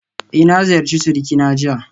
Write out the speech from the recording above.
Eh na ziyarci surikina jiya